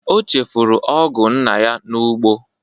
O chefụrụ ọgụ nna ya n'ugbo.